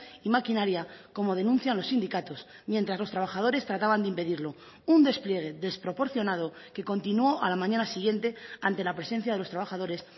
y maquinaria como denuncian los sindicatos mientras los trabajadores trataban de impedirlo un despliegue desproporcionado que continuó a la mañana siguiente ante la presencia de los trabajadores